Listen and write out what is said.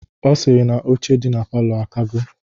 Ọ sịrị na oche dị na palọ akago.